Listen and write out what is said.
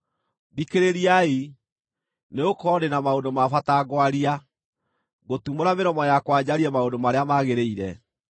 Thikĩrĩriai, nĩgũkorwo ndĩ na maũndũ ma bata ngwaria; ngũtumũra mĩromo yakwa njarie maũndũ marĩa magĩrĩire.